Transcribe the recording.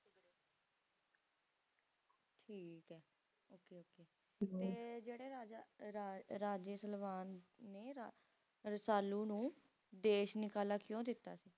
ਠੀਕ ਐ okay ਤੇ ਜਿਹੜੇ ਰਾਜਾ ਰਾ Raja Salaban ਨੇ ਰਾ RajaRasalu ਨੂੰ ਦੇਸ਼ ਨਿਕਾਲਾ ਕਕਿਉਂ ਦਿੱਤਾ ਸੀ